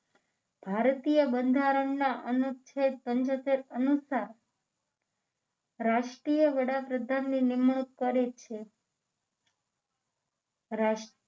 ભારતીય બંધારણના અનુચ્છેદ પંચોતેર અનુસાર રાષ્ટ્રીય વડાપ્રધાન ની નિમણૂક કરી છે રાષ્ટ્ર